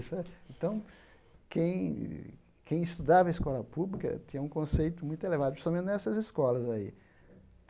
Então, quem quem estudava em escola pública tinha um conceito muito elevado, principalmente nessas escolas aí.